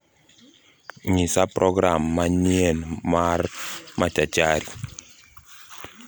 Nyisa program manyien mar machachari